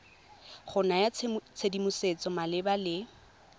go naya tshedimosetso malebana le